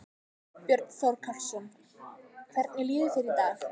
Björn Þorláksson: Hvernig líður þér í dag?